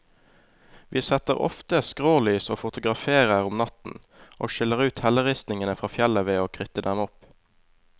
Vi setter ofte skrålys og fotograferer om natten, og skiller ut helleristningen fra fjellet ved å kritte dem opp.